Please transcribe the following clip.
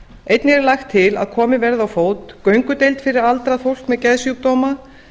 einnig er lagt til að komið verði á fót göngudeild fyrir aldrað fólk með geðsjúkdóma